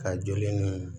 Ka joli ni